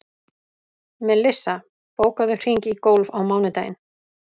Melissa, bókaðu hring í golf á mánudaginn.